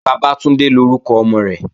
Bàbátúndé lórúkọ ọmọ rẹ̀